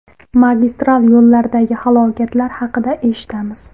Magistral yo‘llardagi halokatlar haqida eshitamiz.